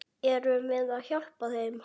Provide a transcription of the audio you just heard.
Erum við að hjálpa þeim?